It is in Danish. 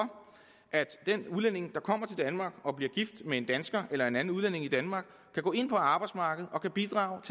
at den udlænding der kommer til danmark og bliver gift med en dansker eller en anden udlænding i danmark kan gå ind på arbejdsmarkedet og kan bidrage